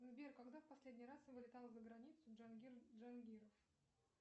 сбер когда в последний раз вылетал за границу джангир джангиров